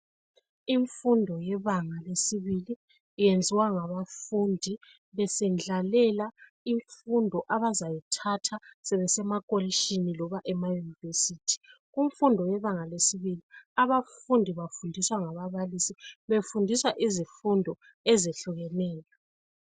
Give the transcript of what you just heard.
imfundo yebanga lesibili iyenziwa ngabafundi besendlalela imfundo abazayithatha sebesema pholishini loba ema univesithi imfundo yebanga lesibili bafundiswa ngababalisi befundiswa izifundo ezihlukeneyo